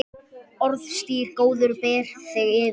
Orðstír góður ber þig yfir.